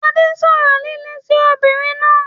Adé sọ̀rọ̀ líle sí obìnrin náà.